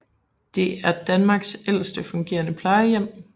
Det er Danmarks ældste fungerende plejehjem